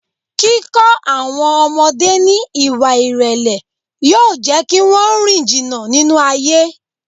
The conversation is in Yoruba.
Kíkọ́ àwọn ọmọdé ní Ìwà ìrèlè yóò jẹ́ kí wón rìn jìnnà nínú ayé.